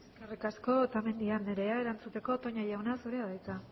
eskerrik asko otamendi andrea erantzuteko toña jauna zurea da hitza